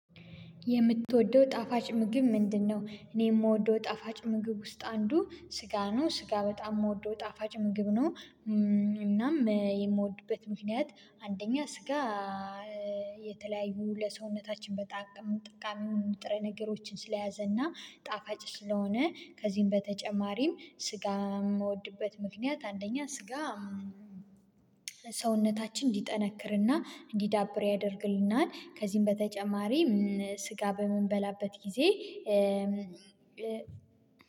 የምትወደው ጣፋጭ ምግብ ምንድነው? እኔ የምወደው ጣፋጭ ምግብ ውስጥ አንዱ ስጋ ነው ስጋ በጣም የምወደው ጣፋጭ ምግብ ነው። እናም የምወድበት ምክንያት አንደኛ ስጋ የተለያዩ ለሰውነታችን በጣም ጠቃሚ ንጥረ ነገሮችን ስለያዘና ጣፋጭ ስለሆነ ከዚህም በተጨማሪም ስጋ የምወድበት ምክንያት አንደኛ ስጋ ሰውነታችን እንዲጠነክርና እንዲዳብር ያደርግልናል። ከዚህም በተጨማሪ ስጋ በምንበላበት ጊዜ